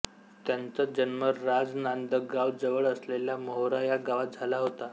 त्यांचा जन्म राजनांदगाव जवळ असलेल्या मोहरा या गावात झाला होता